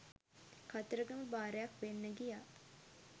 කතරගම බාරයක් වෙන්න ගියා.